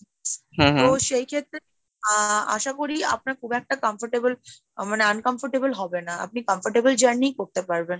তো সেই ক্ষেত্রে আহ আশা করি আপনার খুব একটা comfortable মানে uncomfortable হবে না, আপনি comfortable journey করতে পারবেন।